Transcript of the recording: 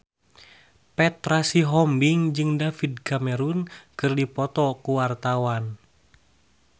Petra Sihombing jeung David Cameron keur dipoto ku wartawan